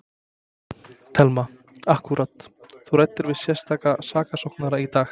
Telma: Akkúrat, þú ræddir við sérstaka saksóknara í dag?